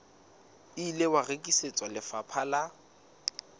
ile wa rekisetswa lefapha la